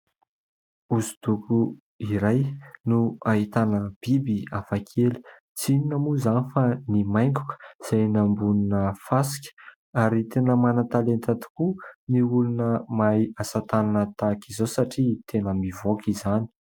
Hoso-doko iray no ahitana biby hafa kely. Tsy inona moa izany fa ny maingoka izay eny ambonina fasika ary tena manan-talenta tokoa ny olona mahay asa tanana tahaka izao satria tena mivoaka izany.